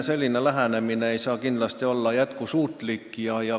Selline lähenemine ei saa kindlasti olla jätkusuutlik.